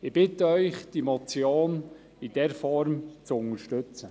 Ich bitte Sie, die Motion in dieser Form zu unterstützen.